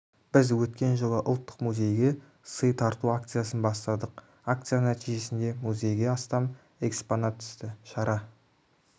біз өткен жылы ұлттық музейге сый тарту акциясын бастадық акция нәтижесінде музейге астам экспонат түсті шара